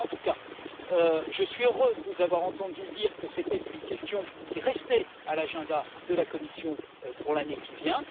En tout cas, je suis heureux de vous avoir entendu dire que c'était une question qui restait à l'agenda de la Commission pour l'année qui vient.